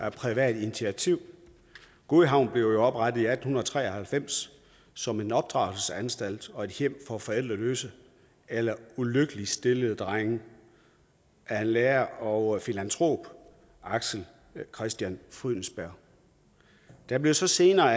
et privat initiativ godhavn blev jo oprettet i atten tre og halvfems som en opdragelsesanstalt og et hjem for forældreløse eller ulykkeligt stillede drenge af lærer og filantrop axel christian frydensberg det blev så senere